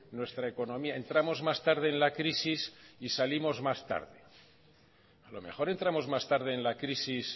nuestra economía entramos más tarde en la crisis y salimos más tarde a lo mejor entramos más tarde en la crisis